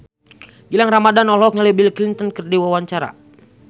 Gilang Ramadan olohok ningali Bill Clinton keur diwawancara